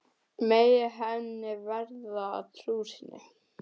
Megi henni verða að trú sinni.